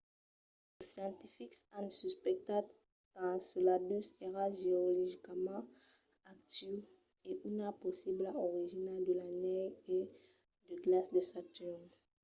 los scientifics an suspectat qu'enceladus èra geologicament actiu e una possibla origina de l'anèl e de glaç de saturn